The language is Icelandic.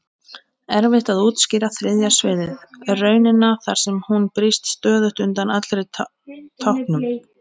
Erfitt er að útskýra þriðja sviðið, raunina þar sem hún brýst stöðugt undan allri táknun.